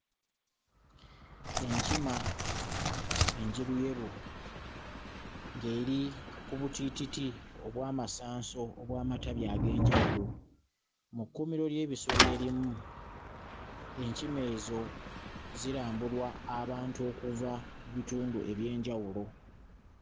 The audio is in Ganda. Enkima enjeruyeru ng'eri ku butiititi obw'amasanso obw'amatabi eg'enjawulo, mu kkuumiro ly'ebisolo erimu enkima ezo zirambulwa abantu okuva mu bitundu eby'enjawulo.